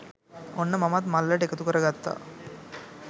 ඔන්න මමත් මල්ලට එකතු කරගත්තා